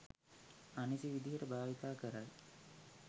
අනිසි විදිහට භාවිතා කරයි